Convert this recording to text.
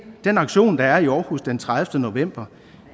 den aktion der er i aarhus den tredivete november